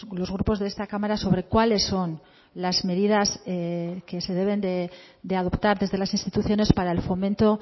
los grupos de esta cámara sobre cuáles son las medidas que se deben de adoptar desde las instituciones para el fomento